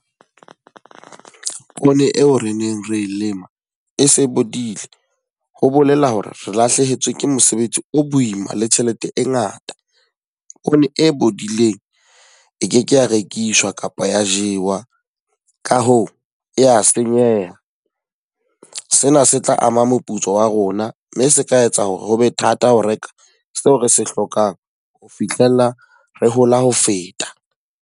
Poone eo re neng re e lema, e se bodile. Ho bolela hore re lahlehetswe ke mosebetsi o boima le tjhelete e ngata. Poone e bodileng e keke ya rekiswa kapa ya jewa. Ka hoo, ya senyeha. Sena se tla ama moputso wa rona mme se ka etsa hore hobe thata ho reka seo re se hlokang ho fihlella re hola ho feta.